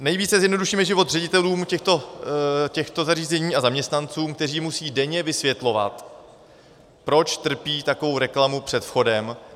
Nejvíce zjednodušíme život ředitelům těchto zařízení a zaměstnancům, kteří musí denně vysvětlovat, proč trpí takovou reklamu před vchodem.